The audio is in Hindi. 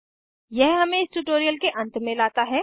यह हमें इस ट्यूटोरियल के अंत में लाता है